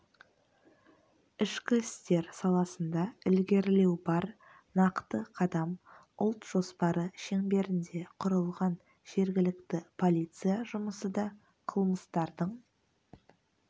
ішкі істер саласында ілгерілеу бар нақты қадам ұлт жоспары шеңберінде құрылған жергілікті полиция жұмысы да қылмыстардың